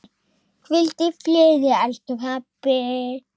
Hvíldu í friði, elsku pabbi.